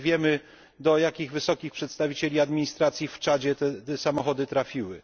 Nawet wiemy do jakich wysokich przedstawicieli administracji w Czadzie te samochody trafiły.